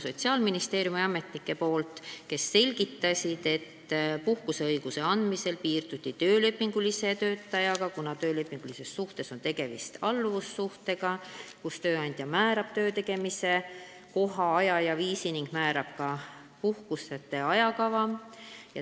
Sotsiaalministeeriumi ametnikud selgitasid, et puhkuseõiguse andmisel piirduti töölepinguliste töötajatega, kuna töölepingulises suhtes on tegemist alluvussuhtega, mille korral tööandja määrab töötegemise koha, aja ja viisi ning määrab ka puhkuste ajakava.